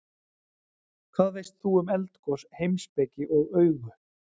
Hvað veist þú um eldgos, heimspeki og augu?